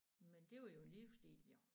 Men det var jo en livsstil jo